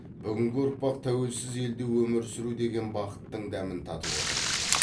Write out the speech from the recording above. бүгінгі ұрпақ тәуелсіз елде өмір сүру деген бақыттың дәмін татып отыр